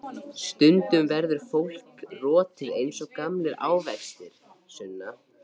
Stundum verður fólk rotið eins og gamlir ávextir, Sunna.